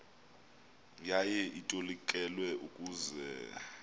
yaye itolikelwa ukuze